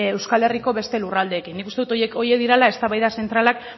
euskal herriko beste lurraldeekin nik uste dut horiek direla eztabaida zentralak